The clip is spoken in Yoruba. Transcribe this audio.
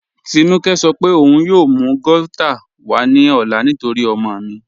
Tínúkẹ̀ sọ̀ pé ọun yóò mú gauta wà ní ọ̀là nítorí ọ̀mọ mi.